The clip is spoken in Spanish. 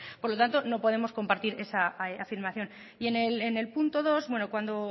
por lo tanto no podemos compartir esa afirmación y el punto dos cuando